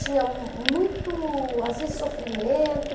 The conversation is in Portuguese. Tinha muito, às vezes, sofrimento.